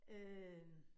Øh